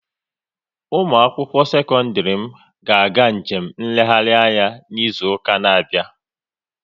Ụmụakwụkwọ sekọndịrị m ga-eje njem nlegharị anya n'izuụka na-abịa